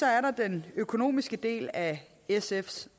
er der den økonomiske del af sfs